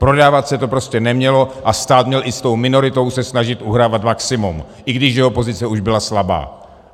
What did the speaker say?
Prodávat se to prostě nemělo a stát měl i s tou minoritou se snažit uhrát maximum, i když jeho pozice už byla slabá.